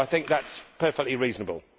I think that is perfectly reasonable.